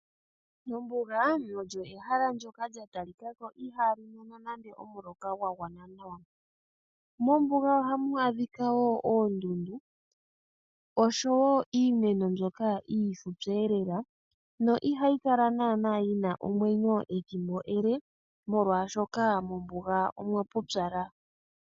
Ombuga olyo ehala ndjoka lyatalikako ihaali mono nande omuloka gwagwana nawa. Mombuga ohamu adhika oondundu noshowoo iimeno iifupi elela na ihayi kala yina ethimbo ele molwaashoka mombuga omwapupyala .